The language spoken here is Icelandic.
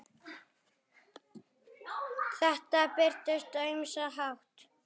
Þetta birtist á ýmsan hátt.